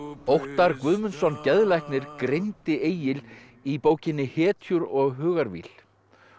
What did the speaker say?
Óttar Guðmundsson geðlæknir greindi Egil í bókinni hetjur og hugarvíl og